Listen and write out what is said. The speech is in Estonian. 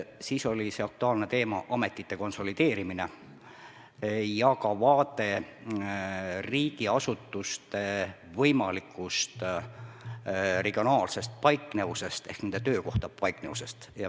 Siis oli aktuaalne teema ametite konsolideerimine ja ka vaade riigiasutuste võimalikust regionaalsest paiknevusest ehk nende töökohtade paiknevusest.